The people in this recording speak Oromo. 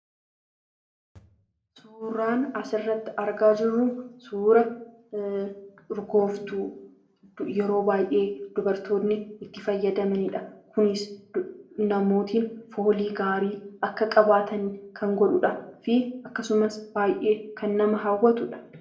Suuraan asirrratti argaa jirru suuraa urgooftuudha. Dubartoonni yeroo baay'ee itti fayyadamu. Kunis, namoonni foolii gaarii akka qabaatan gargaara. Akkasumas, baay'ee nama hawwata.